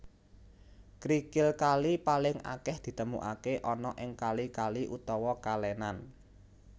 Krikil kali paling akeh ditemukake ana ing kali kali utawa kalenan